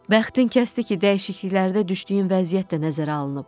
Bəxtin kəsdi ki, dəyişikliklərdə düşdüyün vəziyyət də nəzərə alınıb.